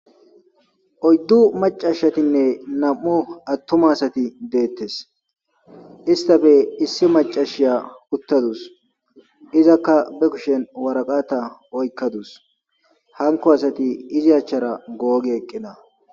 oyddu macashatinne nam7o attoma asati deettes istafe issi macashiya uttadus izakka be kushen waraqata oykkadus hanko asati izi achchara googi eqqina